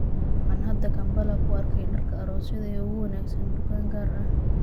Waxaan hadda Kampala ku arkay dharka aroosyada ee ugu wanaagsan dukaan gaar ah.